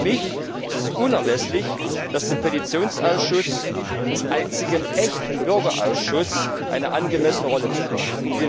Für mich ist es unerlässlich, dass dem Petitionsausschuss als einzigem echten Bürgerausschuss eine angemessene Rolle zukommt.